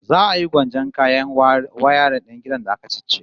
Za a yi gwanjon kayan wayarin din gidan da aka ciccire